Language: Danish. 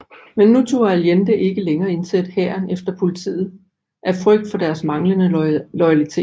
Men nu turde Allende ikke længere indsætte hæren eller politiet af frygt for deres manglende loyalitet